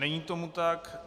Není tomu tak.